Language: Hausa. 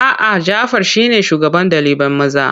A'a, Jafar shine shugaban ɗalibai maza.